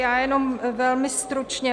Já jenom velmi stručně.